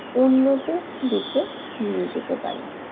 উন্নত দিকে নিয়ে যেতে পারে।